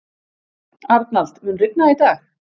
Arnald, mun rigna í dag?